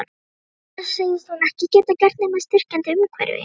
Það segist hún ekki geta gert nema í styrkjandi umhverfi.